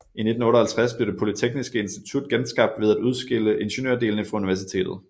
I 1958 blev det polyteksniske institut genskabt ved af udskille ingeniørdelene fra universitetet